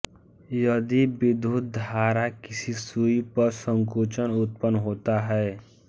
यदि विद्युत्धारा किसी सूई पर संकुंचन उत्पन्न होता है